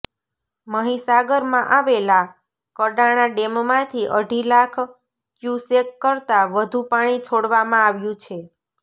મહિસાગરમાં આવેલા કડાણા ડેમમાંથી અઢી લાખ ક્યુસેક કરતા વધુ પાણી છોડવામાં આવ્યુ છે